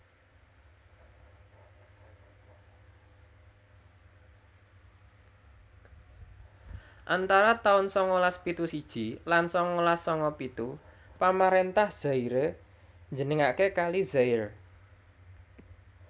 Antara taun sangalas pitu siji lan sangalas sanga pitu pamaréntah Zaire njenengaké Kali Zaire